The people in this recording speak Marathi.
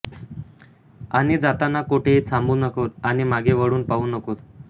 आणि जाताना कोठेही थांबू नकोस आणि मागे वळून पाहू नकोस